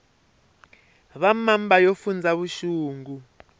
va mamba yo fundza vuxungu